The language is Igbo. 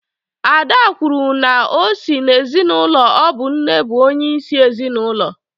Ada kwuru na o si n’ezinụlọ ọ bụ nne bụ onye isi ezinụlọ